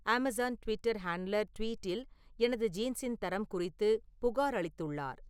Amazon Twitter handler ட்வீட்டில் எனது ஜீன்ஸின் தரம் குறித்து புகார் அளித்துள்ளார்